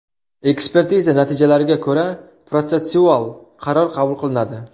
Ekspertiza natijalariga ko‘ra protsessual qaror qabul qilinadi.